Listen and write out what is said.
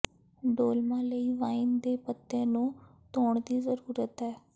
dolma ਲਈ wine ਦੇ ਪੱਤੇ ਨੂੰ ਧੋਣ ਦੀ ਜ਼ਰੂਰਤ ਹੈ